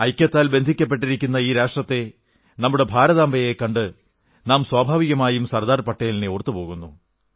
ഐക്യത്താൽ ബന്ധിക്കപ്പെട്ടിരിക്കുന്ന ഈ രാഷ്ട്രത്തെ നമ്മുടെ ഭാരതാംബയെ കണ്ട് നാം സ്വാഭാവികമായും സർദാർ പട്ടേലിനെ ഓർത്തുപോകുന്നു